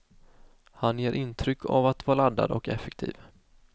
Han ger intryck av att vara laddad och effektiv.